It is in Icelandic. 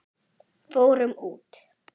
Fórum út!